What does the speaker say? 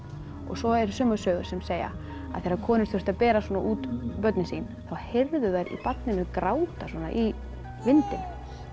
svo eru sumar sögur sem segja að þegar konur þurftu að bera svona út börnin sín þá heyrðu þær í barninu gráta í vindinum